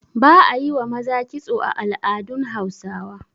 ba a yi wa maza kitso a al'adun Hausawa